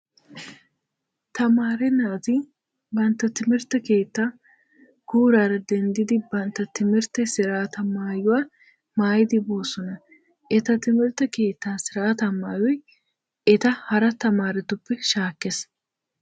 Tamaare naati bantta timirtte keettaa guuraara denddidi bantta timirtte siraataa maayuwa maayidi boosona. Eta timirtte keettaa siraataa maayoy eta hara tamaaretuppe shaakkees.